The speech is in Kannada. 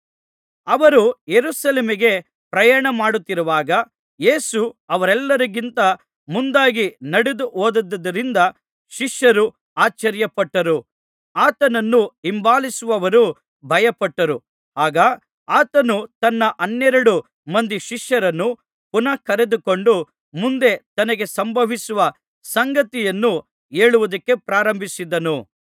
ಅವರು ಯೆರೂಸಲೇಮಿಗೆ ಪ್ರಯಾಣ ಮಾಡುತ್ತಿರುವಾಗ ಯೇಸು ಅವರೆಲ್ಲರಿಗಿಂತ ಮುಂದಾಗಿ ನಡೆದುಹೋದದ್ದರಿಂದ ಶಿಷ್ಯರು ಆಶ್ಚರ್ಯಪಟ್ಟರು ಆತನನ್ನು ಹಿಂಬಾಲಿಸುವವರು ಭಯಪಟ್ಟರು ಆಗ ಆತನು ತನ್ನ ಹನ್ನೆರಡು ಮಂದಿ ಶಿಷ್ಯರನ್ನು ಪುನಃ ಕರೆದುಕೊಂಡು ಮುಂದೆ ತನಗೆ ಸಂಭವಿಸುವ ಸಂಗತಿಯನ್ನು ಹೇಳುವುದಕ್ಕೆ ಪ್ರಾರಂಭಿಸಿದನು